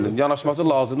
Həqiqətən də.